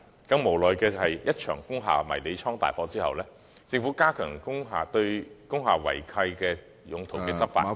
更加無奈的是，在一場工廈迷你倉大火後，政府加強了對工廈違契用途的執法......